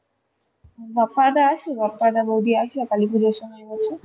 বাপ্পাদা আসে? বাপ্পাদা বৌদি আসে কালিপুজোর সময় হলে?